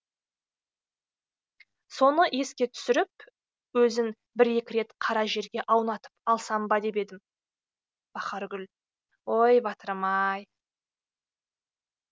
соны еске түсіріп өзін бір екірет қара жерге аунатып алсам ба деп едім бахаргүл ой батырым ай